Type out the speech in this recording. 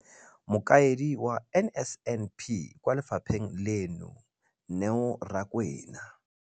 Mokaedi wa NSNP kwa lefapheng leno, Neo Rakwena,